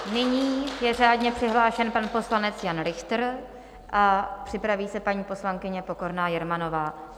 Nyní je řádně přihlášen pan poslanec Jan Richtr a připraví se paní poslankyně Pokorná Jermanová.